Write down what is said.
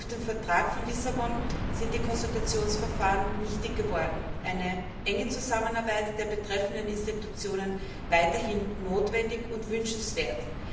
Durch den Vertrag von Lissabon sind die Konsultationsverfahren nichtig geworden, eine enge Zusammenarbeit der betreffenden Institutionen ist weiterhin notwendig und wünschenswert.